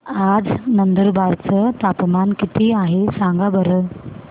आज नंदुरबार चं तापमान किती आहे सांगा बरं